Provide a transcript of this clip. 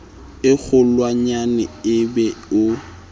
e kgolwanyane e be o